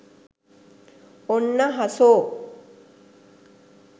ඔන්න හසෝ